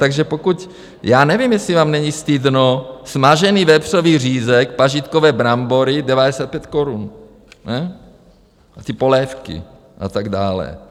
Takže pokud - já nevím, jestli vám není stydno - smažený vepřový řízek, pažitkové brambory 95 korun, a ty polévky a tak dále.